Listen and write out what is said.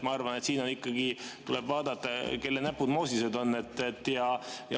Ma arvan, et siin ikkagi tuleb vaadata, kelle näpud moosised on.